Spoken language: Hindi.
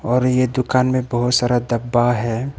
और ये दुकान में बहुत सारा डब्बा है।